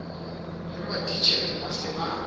le matitjhere ba se ba